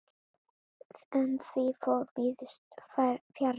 En því fór víðs fjarri.